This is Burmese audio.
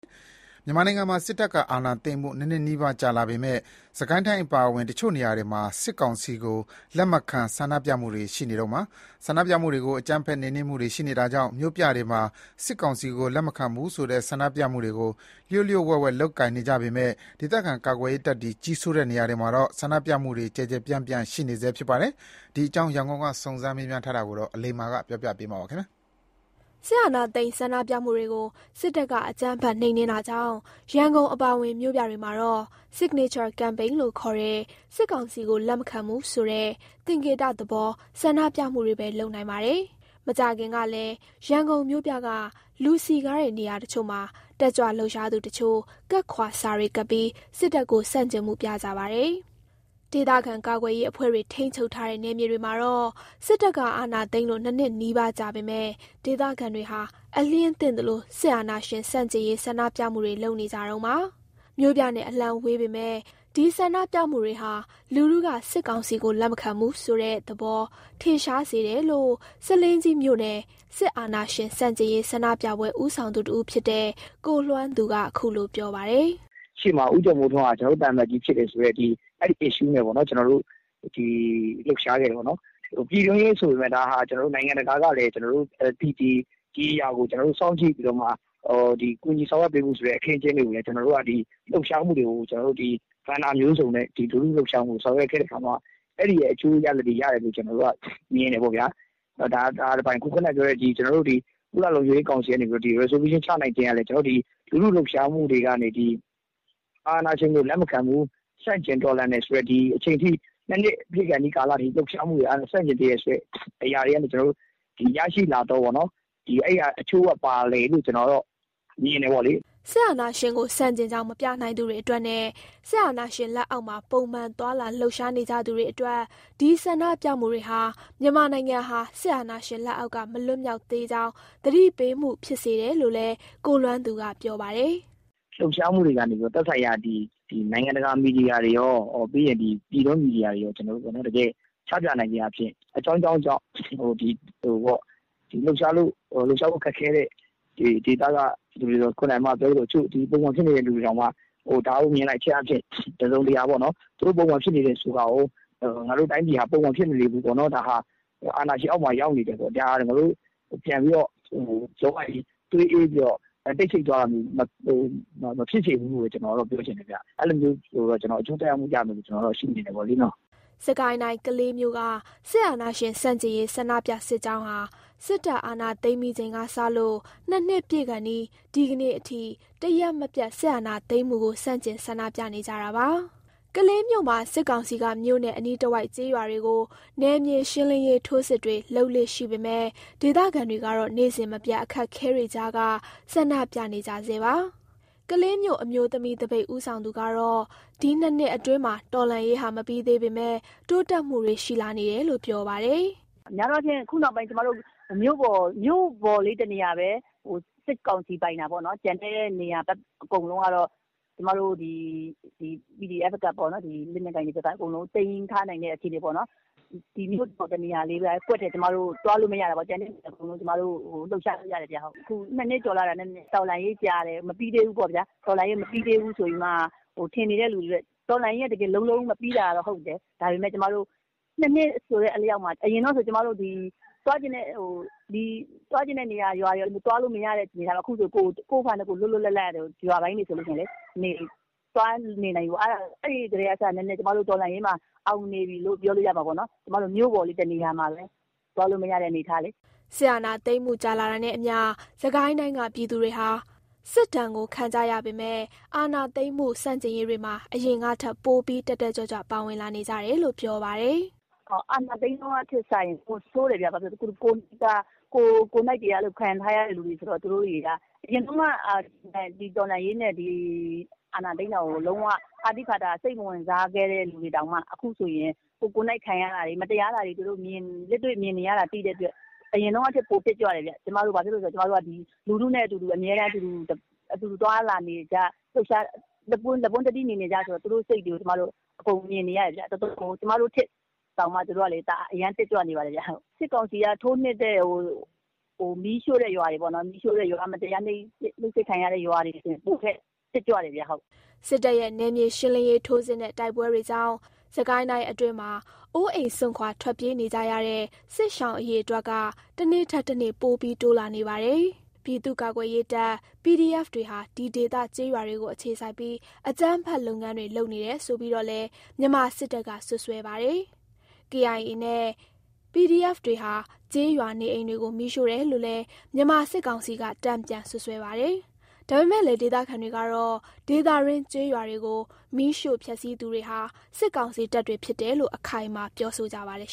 မြန်မာနိုင်ငံမှာ စစ်တပ်အာဏာသိမ်းမှု နှစ်နှစ်နီးပါးကြာလာပေမဲ့ စစ်ကိုင်းတိုင်းအပါအဝင် တချို့နေရာမှာတွေ စစ်ကောင်စီကို လက်မခံဆန္ဒပြမှုတွေရှိနေတုန်းပါ။ ဆန္ဒပြမှုတွေကို အကြမ်းဖက်နှိမ်နင်းနေမှုတာတွေကြောင့် မြို့ပြတွေမှာ စစ်ကောင်စီကိုလက်မခံဘူးဆိုတဲ့ ဆန္ဒပြမှုတွေကို လျှို့လျှို့ဝှက်ဝှက်လုပ်ကိုင်ကြပေမဲ့ ဒေသခံကာကွယ်ရေးတပ်တွေကြီးစိုးတဲ့နေရာတွေမှာတော့ ဆန္ဒပြမှုတွေက ကျယ်ကျယ်ပြန့်ပြန့်ရှိနေဆဲပါ။ ဒီအကြောင်း ရန်ကုန်က စုံစမ်းမေးမြန်းထားတာကို အလိမ္မာက တင်ပြပေးထားပါတယ်။ စစ်အာဏာသိမ်းဆန္ဒပြမှုတွေကို စစ်တပ်ကအကြမ်းဖက်နှိမ်နင်းတာကြောင့် ရန်ကုန်အပါအဝင်မြို့ပြတွေမှာတော့ Signature Campaign ခေါ်တဲ့ စစ်ကောင်စီကို လက်မခံဘူးဆိုတဲ့ သင်္ကေတသဘော ဆန္ဒပြမှုတွေပဲ လုပ်နိုင်ပါတယ်။ မကြာခင်ကလည်း ရန်ကုန်မြို့ပြက လူစည်ကားတဲ့နေရာတချို့မှာ တက်ကြွလှုပ်ရှားသူတချို့ ကပ်ခွာစာတွေကပ်ပြီး စစ်တပ်ကို ဆန့်ကျင်မှုပြကြပါတယ်။ ဒေသခံကာကွယ်ရေးအဖွဲ့တွေ ထိန်းချုပ်ထားတဲ့ နယ်မြေတွေမှာတော့ စစ်တပ်ကအာဏာသိမ်းလို့ နှစ်နှစ်နီးပါးကြာပေမဲ့ ဒေသခံတွေဟာ အလျဉ်းသင့်သလို စစ်အာဏာရှင်ဆန့်ကျင်ရေးဆန္ဒပြနေကြတုန်းပါ။ မြို့ပြနဲ့အလှမ်းဝေးပေမဲ့ ဒီဆန္ဒပြမှုတွေဟာ လူထုက စစ်ကောင်စီကိုလက်မခံဘူးဆိုတဲ့ သဘောထင်ရှားစေတယ်လို့ ဆားလင်းကြီးမြို့နယ် စစ်အာဏာရှင်ဆန့်ကျင်ရေး ဆန္ဒပြပွဲဦးဆောင်သူတဦးဖြစ်တဲ့ ကိုလွမ်းသူက ခုလို ပြောပါတယ်။ "ရှေ့မှာ ဦးကျော်မိုးထွန်းဟာ ကျနော်တို့ သံအမတ်ကြီးဖြစ်တယ်ဆိုတဲ့ အဲ့ဒီ Issue နဲ့ပေါ့နော် လှုပ်ရှားခဲ့ကြတယ်။ ဒါဟာ ပြည်တွင်းရေးဆိုပေမယ့်လည်း နိုင်ငံတကာကလည်း ဒါကိုစောင့်ကြည့်ပြီးတော့မှ ကူညီဆောင်ရွက်ပေးဖို့ဆိုတဲ့ အခင်းအကျင်းတွေကိုလည်း ကျနော်တို့က ကဏ္ဍမျိုးစုံနဲ့ လူထုလှုပ်ရှားမှုကို ဆောင်ရွက်ခဲ့တဲ့အခါမှာ အဲ့ဒီရဲ့ အကျိုးရလာဒ်တွေရတယ်လို့ ကျနော်တို့ မြင်တယ်ပေါ့ဗျာ။ ဒါက တပိုင်း၊ ကျနော်တို့ ဒီ ကုလလုံခြုံရေးကောင်စီကနေ ဆုံးဖြတ်ချက်ချလိုက်ခြင်းကလည်း ဒီအာဏာရှင်ကိုလက်မခံဘူး၊ ဆန့်ကျင်တော်လှန်တယ်ဆိုတဲ့ ဒီအချိန်ထိ ၂ နှစ်ပြည့်ခါနီးထိ ဆန့်ကျင်နေတယ်ဆိုတဲ့အရာတွေကနေ ကျနော်တို့ ရရှိလာသော အကျိုးပါတယ်လို့ ကျနော်တို့ကတော့ မြင်တယ်ပေါ့လေ။" စစ်အာဏာရှင်ကိုဆန့်ကျင်ကြောင်း ပြနိုင်ခွင့်မရသူတွေအတွက်နဲ့ စစ်အာဏာရှင် လက်အောက်မှာ ပုံမှန်သွားလာလှုပ်ရှားနေကြရသူတွေအတွက် ဒီဆန္ဒပြမှုတွေဟာ မြန်မာနိုင်ငံဟာ စစ်အာဏာရှင်လက်အောက်က မလွတ်မြောက်သေးကြောင်း သတိပေးမှု ဖြစ်စေတယ်လို့လည်း ကိုလွမ်းသူက ပြောပါတယ်။ "ဒီလှုပ်ရှားမှုတွေကနေ နိုင်ငံတကာ မီဒီယာတွေရော၊ ပြည်တွင်းမီဒီယာတွေရောကို ချပြနိုင်ခြင်းအားဖြင့် အကြောင်းကြောင်းကြောင့် လှုပ်ရှားဖို့ ခက်ခဲနေတဲ့သူတွေ၊ ပုံမှန်ပြန်ဖြစ်နေတဲ့သူတွေတောင် ဒါကို မြင်လိုက်ခြင်းအားဖြင့် သူတို့ ပုံမှန်ဖြစ်နေတယ်ဆိုတာကို ငါတို့တိုင်းပြည်ဟာ ပုံမှန်ဖြစ်မနေဘူးပေါ့၊ အာဏာရှင်အောက်မှာ ရောက်နေတယ်ပေါ့။ ငါတို့သွေးအေးပြီး တိတ်ဆိတ်သွားတာမျိုး မဖြစ်သင့်ဘူးလို့ပေါ့- ကျနော်ကတော့ အဲ့လို ပြောချင်တယ်ဗျ။ အဲ့လိုမျိုး အကျိုးသက်ရောက်မှု ရမယ်လို့တော့ ကျနော်ကတော့ ရှုမြင်တယ်ပေါ့လေ။" စစ်ကိုင်းတိုင်း ကလေးမြို့က စစ်အာဏာရှင် ဆန့်ကျင်ရေး ဆန္ဒပြစစ်ကြောင်းဟာ စစ်တပ် အာဏာသိမ်းပြီးချိန်ကစလို့ ၂ နှစ် ပြည့်ခါနီး ဒီကနေ့အထိ တရက်မပျက် စစ်အာဏာသိမ်းမှုကို ဆန့်ကျင်ဆန္ဒပြနေကြတာပါ။ ကလေးမြို့မှာ စစ်ကောင်စီက မြို့နဲ့အနီးတဝိုက်ကျေးရွာတွေကို နယ်မြေရှင်းလင်းရေးထိုးစစ်တွေလုပ်လေ့ရှိပေမဲ့ ဒေသခံတွေကတော့ နေ့စဉ်မပျက် အခက်အခဲတွေကြားက ဆန္ဒပြနေကြဆဲပါ။ ကလေးမြို့ အမျိုးသမီးသပိတ်ဦးဆောင်သူကတော့ ဒီနှစ်နှစ်အတွင်းမှာ တော်လှန်ရေးမပြီးသေးပေမယ့် တိုးတက်မှုတွေ ရှိလာနေတယ်လို့ ပြောပါတယ်။ "များသောအားဖြင့် ကျမတို့ ခု မြို့ပေါ်လေးတနေရာပဲ စစ်ကောင်စီပိုင်တာပေါ့နော်၊ ကျန်တဲ့နေရာတွေ အကုန်လုံးက ကျမတို့ PDF တွေ၊ လက်နက်ကိုင်တွေက အကုန်လုံး သိမ်းထားနိုင်တဲ့အခြေအနေပေါ့နော်။ မြို့ပေါ်တနေရာလေးပဲ ကျမတို့ သွားလို့မရတာပေါ့နော်။ ကျန်တဲ့နေရာတွေအကုန်လုံးက လွတ်လွတ်လပ်လပ် လှုပ်ရှားလို့ရတယ်ဗျ။ အခု ၂ နှစ် ကြာလာတာနဲ့ တော်လှန်ရေး ကြာတယ်၊ မပြီးသေးဘူးပေါ့ ထင်နေတဲ့သူတွေ ရှိတယ်။ တော်လှန်ရေးက လုံးလုံးကြီး မပြီးတာတော့ ဟုတ်တယ်။ ဒါပေမယ့် ၂ နှစ်ဆိုတဲ့အလျောက်မှာ အရင်က သွားချင်တဲ့နေရာကို သွားလို့မရတဲ့ အနေအထားမှာ အခုဆိုရင် ကိုယ့်ဟာကိုယ် လွတ်လွတ်လပ်လပ် ရွာပိုင်းတွေဆို သွားနေနိုင်ပြီပေါ့။ အဲ့ဒီကတည်းကစ ကျွန်မတို့ တော်လှန်ရေးမှာ အောင်နေပြီလို့ ပြောလို့ရမှာပေါ့။ မြို့ပေါ်လေးတနေရာမှာပဲ သွားလို့မရတဲ့ အနေအထားလေ။" စစ်အာဏာသိမ်းမှု ကြာလာတာနဲ့အမျှ စစ်ကိုင်းတိုင်းကပြည်သူတွေဟာ စစ်ဒဏ်ကို ခံကြရပေမယ့် အာဏာသိမ်းမှုဆန့်ကျင်ရေးတွေမှာ အရင်ကထက် ပိုပြီး တက်တက်ကြွကြွ ပါဝင်လာနေကြတယ်လို့ ပြောပါတယ်။ "အာဏာသိမ်းခါစထက်စာရင် ပိုဆိုးတယ်ဗျ၊ ကိုယ်တွေက ခံထားရတဲ့သူတွေဆိုတော့ အရင်တုန်းက တော်လှန်ရေးနဲ့ ဒီအာဏာသိမ်းတာကို လုံးဝဖာသိဖာသာ၊ လုံးဝ စိတ်မဝင်စားခဲ့တဲ့သူတွေတောင်မှ ကိုယ်ကိုယ်တိုင်ခံရတာတွေ၊ မတရားတာတွေကို လက်တွေ့မြင်နေရတာဖြစ်တဲ့အတွက် အရင်တုန်းကထက် ပိုတက်ကြွတယ်ဗျ။ ကျနော်တို့က ပြည်သူတွေနဲ့အတူ သွားလာလှုပ်ရှားပြီး လက်ပွန်းတတီး နေနေကျ ဆိုတော့ သူတို့စိတ်တွေကို အကုန်မြင်နေရတယ်ဗျ။ ကျမတို့ထက်တောင်မှ သူတို့ က အရမ်း တက်ကြွနေပါတယ်။ စစ်ကောင်စီရဲ့ ထိုးနှက်မှုနဲ့ မတရားနှိပ်စက်ခံရတဲ့ ရွာတွေဆိုရင် ပိုပြီးတော့ တက်ကြွတယ်ဗျ။" စစ်တပ်ရဲ့ နယ်မြေရှင်းလင်းရေးထိုးစစ်နဲ့ တိုက်ပွဲတွေကြောင့် စစ်ကိုင်းအတွင်းမှာ အိုးအိမ်စွန့်ခွာထွက်ပြေးနေကြရတဲ့ စစ်ရှောင်အရေအတွက်တွေက တနေ့ထက် တနေ့ ပိုပြီးတိုးလာနေပါတယ်။ ပြည်သူ့ကာကွယ်ရေးတပ် PDF တွေဟာ ဒီဒေသ ကျေးရွာတွေကိုအခြေစိုက်ပြီး အကြမ်းဖက်လုပ်ငန်းတွေ လုပ်နေတယ်ဆိုပြီးတော့လည်း မြန်မာစစ်တပ်က စွပ်စွဲပါတယ်။ KIA နဲ့ PDF တွေဟာ ကျေးရွာနေအိမ်တွေကို မီးရှို့တယ်လို့လည်း မြန်မာစစ်ကောင်စီက တန်ပြန်စွပ်စွဲပါတယ်။ ဒါပေမဲ့လည်း ဒေသခံတွေကတော့ ဒေသတွင်းကျေးရွာတွေကို မီးရှို့ဖျက်ဆီးသူဟာ စစ်ကောင်စီတပ်တွေဖြစ်တယ်လို့ပဲ အခိုင်အမာပြောဆိုကြပါတယ်